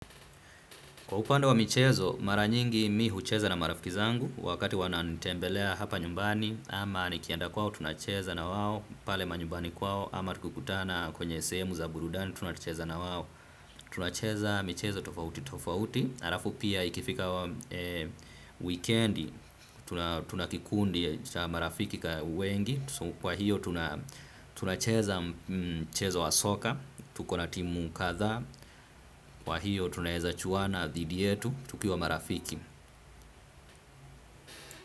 Kwa upande wa michezo, mara nyingi mi hucheza na marafiki zangu, wakati wananitembelea hapa nyumbani, ama nikienda kwao, tunacheza na wao, pale manyumbani kwao, ama tukikutana kwenye sehemu za burudani, tunacheza na wao, tunacheza michezo tofauti tofauti. Halafu pia ikifika wikendi, tuna kikundi cha marafiki wengi. Kwa hiyo tunacheza mchezo wa soka, tuko na timu kadhaa. Kwa hiyo tunaweza chuana dhidi yetu, tukiwa marafiki.